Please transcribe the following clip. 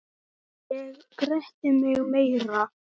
Ég gretti mig meira.